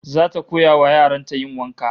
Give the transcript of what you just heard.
Zata koya wa yaran ta yin wanka